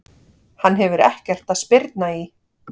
Hann hefur ekkert að spyrna í!